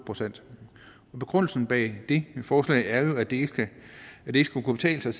procent begrundelsen bag det forslag er jo at det ikke skal kunne betale sig